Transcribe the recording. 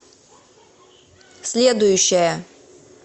следующая